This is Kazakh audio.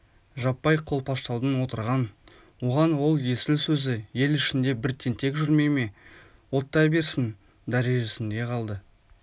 жаппай қолпаштаудың отырған оған ол есіл сөзі ел ішінде бір тентек жүрмей ме оттай берсін дәрежесінде қалды